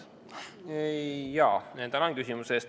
Tänan küsimuse eest!